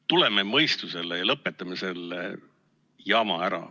Tuleme mõistusele ja lõpetame selle jama ära!